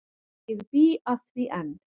Ég bý að því enn.